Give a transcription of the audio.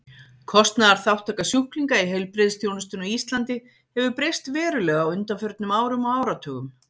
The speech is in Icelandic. Kostnaðarþátttaka sjúklinga í heilbrigðisþjónustunni á Íslandi hefur breyst verulega á undanförnum árum og áratugum.